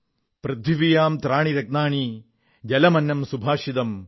പൃഥിവ്യാം ത്രീണി രത്നാനി ജലമന്നം സുഭാഷിതം